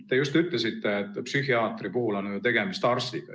Te just ütlesite, et psühhiaatri puhul on tegemist arstiga.